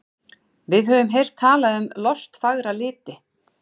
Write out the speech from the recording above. Við höfum heyrt talað um lostfagra liti.